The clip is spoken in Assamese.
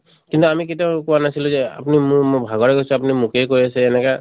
কিন্তু আমি কেতিয়াও কোৱা নাছিলো যে আপুনি মোৰ মু ভাগৰ লাগি গৈছে আপুনি মোকে কৈ আছে এনেকা